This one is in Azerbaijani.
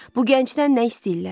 Bu gəncdən nə istəyirlər?